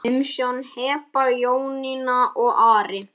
Umsjón Heba, Jónína og Ari.